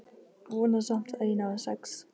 Vona samt að ég nái sex.